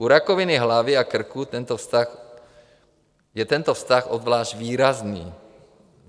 U rakoviny hlavy a krku je tento vztah obzvlášť výrazný.